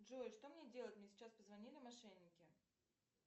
джой что мне делать мне сейчас позвонили мошенники